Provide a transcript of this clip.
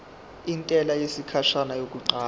intela yesikhashana yokuqala